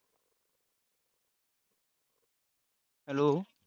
hello